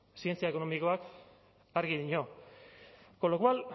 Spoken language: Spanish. zientzia ekonomikoak argi dio con lo cual